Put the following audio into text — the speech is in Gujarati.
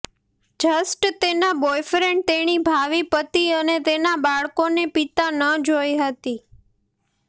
જસ્ટ તેના બોયફ્રેન્ડ તેણી ભાવિ પતિ અને તેના બાળકોને પિતા ન જોઇ હતી